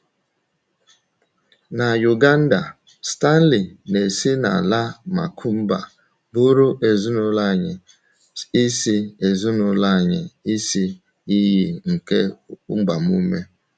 Na Uganda, Stanley na Esinala Makùmbà bụụrụ ezinụlọ anyị isi ezinụlọ anyị isi iyi nke agbamume.